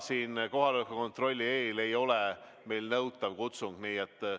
Jaa, kohaloleku kontrolli eel ei ole meil kutsung nõutav.